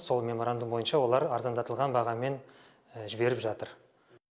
сол меморандум бойынша олар арзандатылған бағамен жіберіп жатыр